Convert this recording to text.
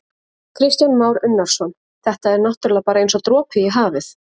Kristján Már Unnarsson: Þetta er náttúrulega bara eins og dropi í hafið?